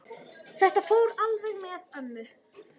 Þetta fór alveg með ömmu.